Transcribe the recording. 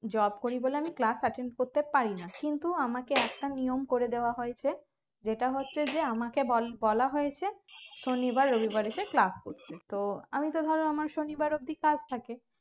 job করি বলে আমি class attend করতে পারি না কিন্তু আমাকে একটা নিয়ম করে দেওয়া হয়েছে যেটা হচ্ছে যে আমাকে বল বলা হয়েছে শনিবার রবিবার এসে class করতে তো আমি তো ভাবলাম আমার শনিবার অব্দি কাজ থাকে